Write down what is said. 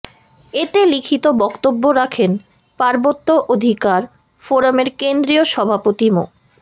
এতে লিখিত বক্তব্য রাখেন পার্বত্য অধিকার ফোরামের কেন্দ্রীয় সভাপতি মো